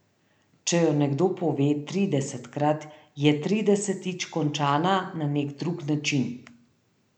Če jo nekdo pove tridesetkrat, je tridesetič končana na neki drug način.